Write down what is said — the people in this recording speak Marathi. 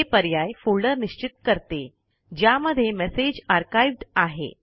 हे पर्याय फोल्डर निश्चित करते ज्यामध्ये मेसेज आर्काइव्ह्ड आहे